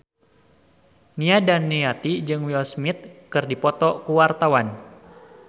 Nia Daniati jeung Will Smith keur dipoto ku wartawan